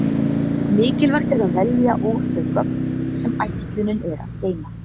Mikilvægt er að velja úr þau gögn sem ætlunin er að geyma.